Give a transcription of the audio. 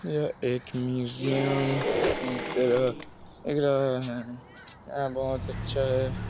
यह एक म्यूजियम की तरह दिख रहा है यहाँ बहोत अच्छा है।